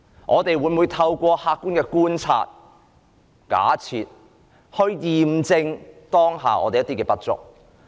我們每每透過客觀的觀察和假設，驗證我們當下的不足之處。